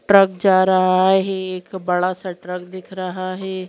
Truck जा रहा है एक बड़ा सा ट्रक दिख रहा है।